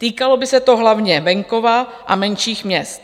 Týkalo by se to hlavně venkova a menších měst.